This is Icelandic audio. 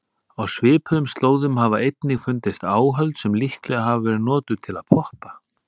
Á svipuðum slóðum hafa einnig fundist áhöld sem líklega hafa verið notuð til að poppa.